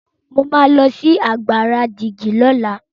Mo máa lọ sí Àgbádárìgì lọ́la